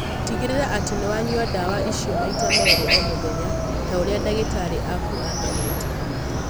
Tĩgĩrĩra atĩ nĩ wa nyua ndawa icio maita merĩ o mũthenya ta ũrĩa ndagĩtarĩ aku aathanĩte